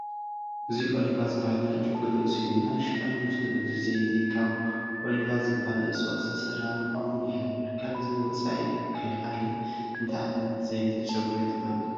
እዚ ኦሊቫ ዝበሃል ናይ ጨጉሪ ርእሲ እዩ፡፡ ናይ ሽፋን ምስሉ እዚ ዘይቲ ካብ ኦሊቫ ዝበሃል እፅዋት ዝተሰርሐ ምዃኑ ይሕብር፡፡ ካብዚ ወፃኢ ከ ካልእ እንታይ ዓይነት ዘይቲ ጨጉሪ ትፈልጡ?